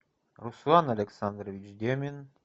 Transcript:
руслан александрович демин